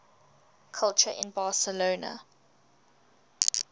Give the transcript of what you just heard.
culture in barcelona